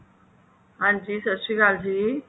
ਹਾਂਜੀ ਸਤਿ ਸ਼੍ਰੀ ਅਕਾਲ ਜੀ